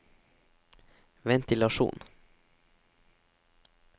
ventilasjon